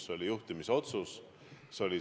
See oli juhtimisotsus.